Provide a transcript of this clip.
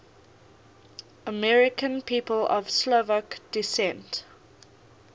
american people of slovak descent